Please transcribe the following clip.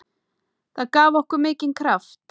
Það gaf okkur mikinn kraft.